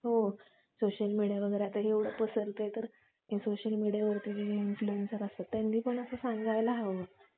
हो Social Media वगैरे आता एवढा पसरतं तर हे Social Media वर जे Influencer असतात त्यांनी पण जरासं सांगून सांगायला हवं